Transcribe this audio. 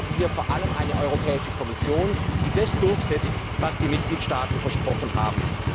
Wir brauchen hier vor allem eine Europäische Kommission, die das durchsetzt, was die Mitgliedstaaten versprochen haben.